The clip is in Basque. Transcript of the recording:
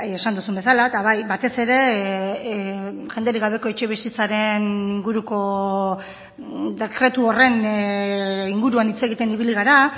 esan duzun bezala eta bai batez ere jenderik gabeko etxebizitzaren inguruko dekretu horren inguruan hitz egiten ibili gara